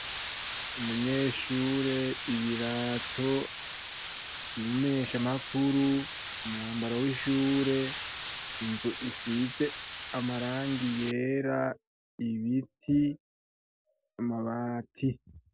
Abanyeshure, ibirato, umumenyeshamakuru, umwambaro w'ishure, inzu isize amarangi yera, ibiti, amabati.